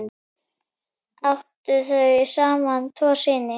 Áttu þau saman tvo syni.